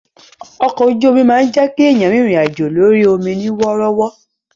Ọkọ ojú omi máa ń jẹ́ èèyàn rìnrìn àjò lórí ọmọ ní wọ́rọ́wọ́